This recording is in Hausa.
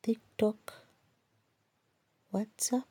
TikTok, WhatsApp.